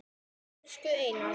Elsku Einar.